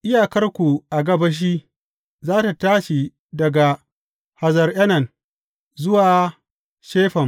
Iyakarku a gabashi, za tă tashi daga Hazar Enan zuwa Shefam.